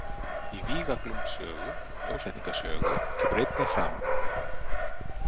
Í Víga-Glúms sögu og Ljósvetninga sögu kemur einnig fram.